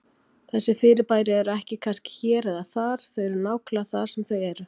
Þessi fyrirbæri eru ekki kannski hér eða þar, þau eru nákvæmlega þar sem þau eru.